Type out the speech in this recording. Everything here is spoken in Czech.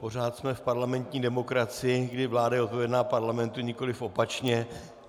Pořád jsme v parlamentní demokracii, kdy vláda je odpovědná parlamentu, nikoliv opačně.